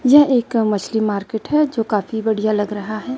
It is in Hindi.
यह एक मछली मार्केट है जो काफी बढ़िया लग रहा है।